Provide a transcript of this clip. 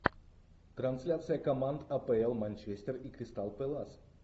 трансляция команд апл манчестер и кристал пэлас